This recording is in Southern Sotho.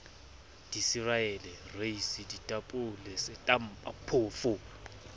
dicereale reisi ditapole setampa phoofo